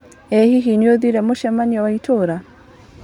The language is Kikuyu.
ĩ hihi nĩũrathire mũcemanioinĩ wa itũra.